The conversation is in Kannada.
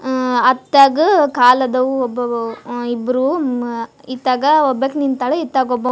ಅಅ ಅತ್ತಾಗ ಕಾಲ್ ಆದವು ಒಬವು ಮ್ ಇಬ್ರು ಮ ಇತ್ತಾಗ ಇತ್ತಾಗ ಒಬ್ಬಾಕೆ ನಿಂತ್ಯಾಳ ಅತ್ತಾಗ --